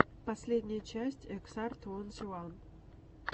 последняя часть эксар твонти ван